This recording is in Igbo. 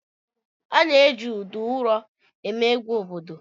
A na-eji udu ụrọ eme egwu obodo.